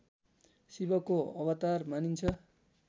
शिवको अवतार मानिन्छ